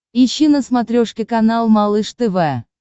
ищи на смотрешке канал малыш тв